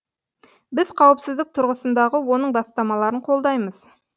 біз қауіпсіздік тұрғысындағы оның бастамаларын қолдаймыз